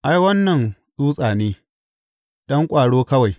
Ai, wannan tsutsa ne, ɗan ƙwaro kawai.